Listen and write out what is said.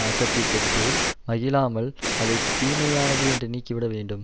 ஆக்கத்தைப் பெற்று மகிழாமல் அதை தீமையானது என்று நீக்கிவிட வேண்டும்